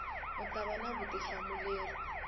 u ta va na vutihlamuleri